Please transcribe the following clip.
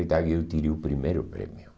E dali eu tirei o primeiro prêmio.